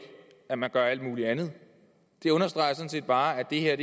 at man gør alt muligt andet det understreger sådan set bare at det her